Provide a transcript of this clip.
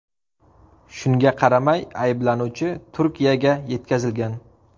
Shunga qaramay ayblanuvchi Turkiyaga yetkazilgan.